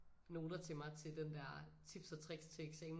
Noter til mig til den der tips og tricks til eksamen